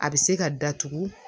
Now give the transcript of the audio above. A bɛ se ka datugu